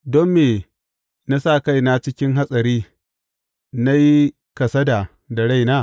Don me na sa kaina cikin hatsari na yi kasada da raina?